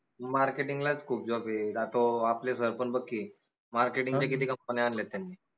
marketing लाच खूप job आय आता तो आपले sir पन बघ की marketing च्या किती company न्या आनल्यात त्यांनी